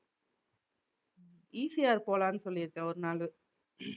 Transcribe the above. உம் ECR போலான்னு சொல்லி இருக்கேன் ஒரு நாளு